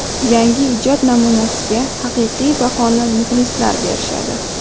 Yangi ijod namunasiga haqiqiy bahoni muxlislar berishadi.